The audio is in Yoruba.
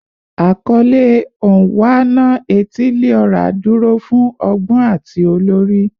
Akọle "Onwa-na-etili-ora" duro fun ọgbọn ati olori